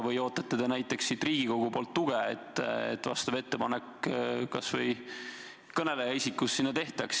Või ootate näiteks siit Riigikogust tuge, et selline ettepanek kas või minu poolt tehtaks?